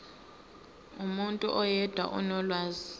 umuntu oyedwa onolwazi